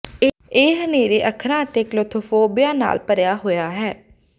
ਇਹ ਹਨੇਰੇ ਅੱਖਰਾਂ ਅਤੇ ਕਲੋਥਫੋਬੋਆ ਨਾਲ ਭਰਿਆ ਹੋਇਆ ਹੈ